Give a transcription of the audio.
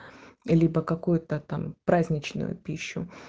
либо какой-то там праздничную пищу